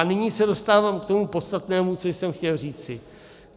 A nyní se dostávám k tomu podstatnému, co jsem chtěl říci.